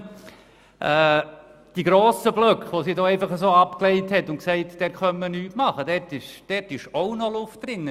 In den grossen Blöcken, zu denen sie gesagt hat, man könne nichts machen, ist auch noch Luft drin.